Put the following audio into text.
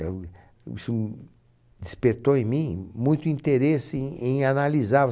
Isso despertou em mim muito interesse em em analisar